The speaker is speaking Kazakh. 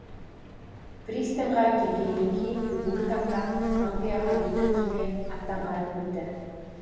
пристаньға келгеннен кейін бүгінгі таңда англияға екі кеме аттанғанын білді